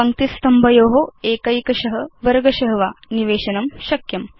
पङ्क्तिस्तम्भयो एकैकश वर्गश वा निवेशनं शक्यम्